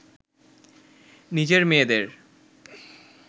নিজের মেয়েদের